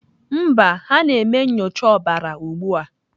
Mba, ha na-eme nyocha ọbara ugbu a.